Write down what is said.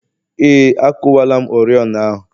Ee, akuwala m oriọna ahụ